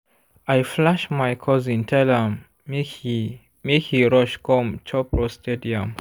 i flash my cousin tell am make he make he rush come chop roasted yam.